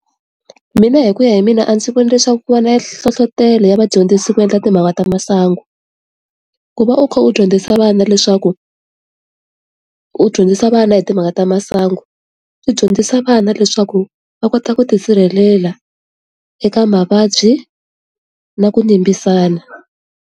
Mina hi ku ya hi mina a ndzi vona leswaku ku va na nhlohlotelo ya vadyondzisi ku endla timhaka ta masangu ku va u kha u dyondzisa vana leswaku u dyondzisa vana hi timhaka ta masangu u dyondzisa vana leswaku va kota ku tisirhelela eka mavabyi na ku yimisana.